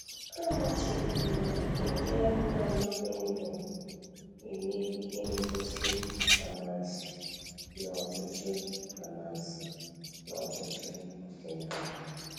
Amachibidoro iji anụmanụ dị ndụ eme ihe ngosi amansi n'ọtụtụ amansi n'ọtụtụ ọdịnala.